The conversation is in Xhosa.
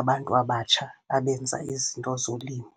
abantu abatsha abenza izinto zolimo.